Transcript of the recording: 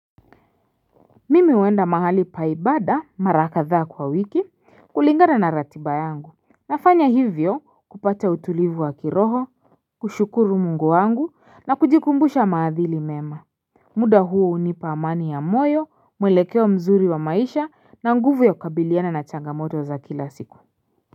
Mimi huenda mahali pa ibada mara kadhaa kwa wiki kulingana na ratiba yangu, nafanya hivyo kupata utulivu wa kiroho kushukuru mungu wangu na kujikumbusha maadhili mema muda huu hunipa amani ya moyo mwelekeo mzuri wa maisha na nguvu ya kukabiliana na changamoto za kila siku.